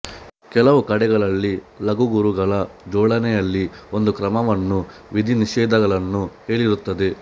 ಕೆಲವು ಕಡೆಗಳಲ್ಲಿ ಲಘು ಗುರುಗಳ ಜೋಡಣೆಯಲ್ಲಿ ಒಂದು ಕ್ರಮವನ್ನೂ ವಿಧಿನಿಷೇಧಗಳನ್ನೂ ಹೇಳಿರುತ್ತದೆ